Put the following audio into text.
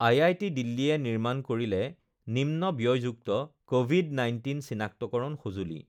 IIT দিল্লীয়ে নিৰ্মাণ কৰিলে নিম্ন ব্যয়যুক্ত কভিড ১৯ চিনাক্তকৰণ সঁজুলি